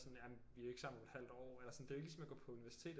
Sådan vi er ikke sammen om et halvt år det er ikke ligesom at gå på universitetet